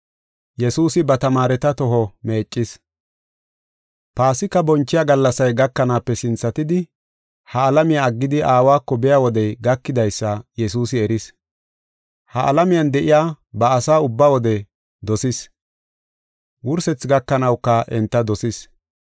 Paasika bonchiya gallasay gakanaape sinthatidi ha alamiya aggidi Aawako biya wodey gakidaysa Yesuusi eris. Ha alamiyan de7iya ba asaa ubba wode dosis; wursethi gakanawuka enta dosis.